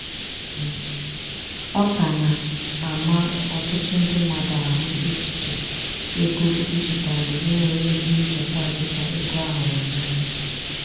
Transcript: ọ ka na-ama ọtụtụ ndị mmadụ ahụ echiche ego dijitalu inwe ezi nchekwa dika ego a hụrụ anya.